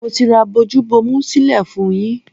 Mo ti ra bojú bomu sílẹ̀ fún-un yín.